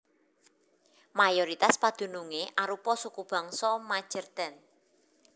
Mayoritas padunungé arupa sukubangsa Majeerteen